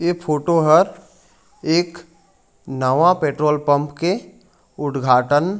इ फोटो हर एक नवा पेट्रोल पंप के उट्घाटन --